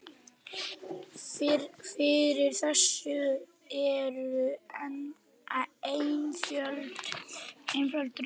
Fyrir þessu eru einföld rök.